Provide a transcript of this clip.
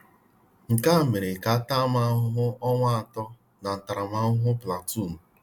Nkea mere ka a taa m ahụhụ ọnwa atọ na ntaramahụhụ platuun.